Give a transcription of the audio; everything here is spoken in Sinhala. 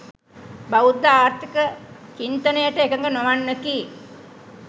බෞද්ධ ආර්ථික චින්තනයට එකඟ නොවන්නකි.